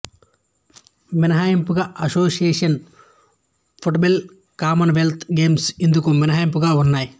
మినహాయింపుగా association football Commonwealth games ఇందుకు మినహాయింపుగా ఉన్నాయి